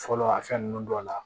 Fɔlɔ a fɛn nunnu dɔ la